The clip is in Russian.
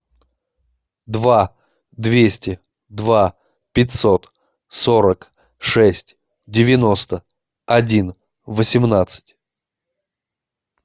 два двести два пятьсот сорок шесть девяносто один восемнадцать